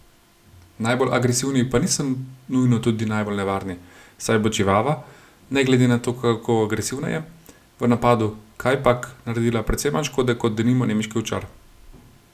Najbolj agresivni pa niso nujno tudi najbolj nevarni, saj bo čivava, ne glede na to, kako agresivna je, v napadu kajpak naredila precej manj škode kot denimo nemški ovčar.